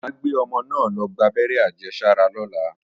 Mà á gbé ọmọ náà lọ gbábẹ́rẹ́ àjẹsára lọ́la